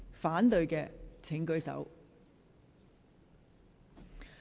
反對的請舉手。